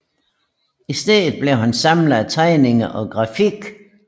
I stedet blev han samler af tegninger og grafik